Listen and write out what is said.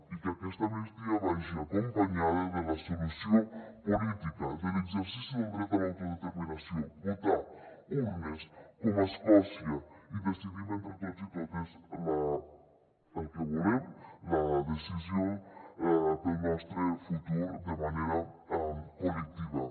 i que aquesta amnistia vagi acompanyada de la solució política de l’exercici del dret a l’autodeterminació votar urnes com a escòcia i decidim entre tots i totes el que volem la decisió per al nostre futur de manera col·lectiva